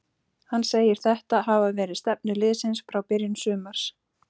Hann segir þetta hafa verið stefnu liðsins frá byrjun sumars.